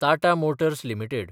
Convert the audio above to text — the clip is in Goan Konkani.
Tata Motors limited